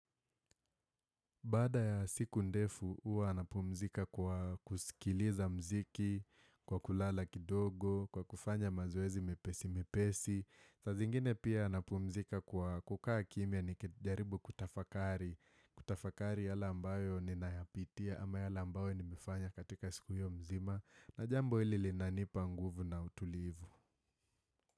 Baada ya siku ndefu, huwa napumzika kwa kusikiliza muziki, kwa kulala kidogo, kwa kufanya mazoezi mepesi mepesi. Saa zingine pia napumzika kwa kukaa kimia nikijaribu kutafakari. Kutafakari yale ambayo ninayapitia ama yale ambayo nimefanya katika siku hio mzima. Na jambo hili linanipa nguvu na utulivu.